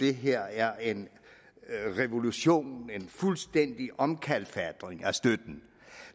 det her er en revolution en fuldstændig omkalfatring af støtten